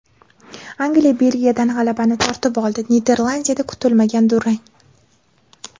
Angliya Belgiyadan g‘alabani tortib oldi, Niderlandiyada kutilmagan durang.